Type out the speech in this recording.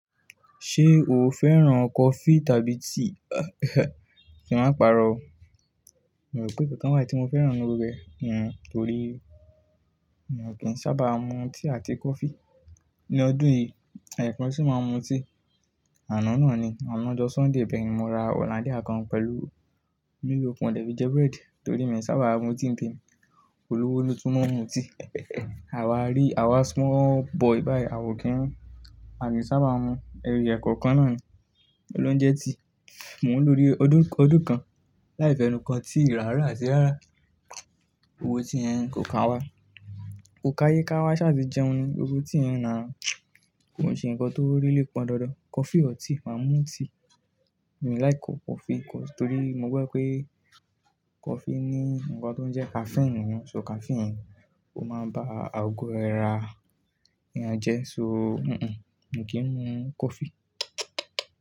Ṣé o fẹ́ràn coffee tàbí tea? Kí n má pàrọ̀ o. Mo o rò pé n kankan wá tí mo fẹ́ràn nú rẹ̀, n mo torí mi ò kí ń sábà mu tea àti coffee. Ní ọdún yìí, ẹ̀yọ̀kan sì máa ń mu tea. Àná náà ni, àná ọjọ́ Sunday bẹ́ẹ̀ ni mo ra Hollandia kan pẹ̀lú Milo mo dẹ́fi jẹ bread torí mi ò sábà mu tea ní temi. Olówó ló tún máa ń mu tea. Ewa rí àwa small boy báyìí awa ò kí ń mu. À kin sábà mu ẹri ẹ̀kọ̀kan náà ni, kilonje tea. Mò ń lò odidi ọdún kan láì fẹnu kàn tea rà rá àti rárá. Gbogbo tea yen kò kàwá, kò káyé káwá ṣááti jẹun ni. Gbogbo tea yen na kò ń ṣe nǹkan tó really pọn dandan. Coffee or tea, màá mu tea. Mi láiki coffee kọ torí mo gbọ́ pé coffee ní nǹkan tó ń jẹ́ caffeine nínú. So caffeine yen o máa ń bá àgọ́ ara èeyàn jẹ́ so n n, mi kì ń mu coffee.